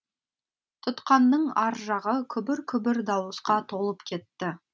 тұтқанның ар жағы күбір күбір дауысқа толып кетті